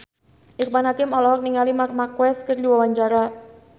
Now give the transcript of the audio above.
Irfan Hakim olohok ningali Marc Marquez keur diwawancara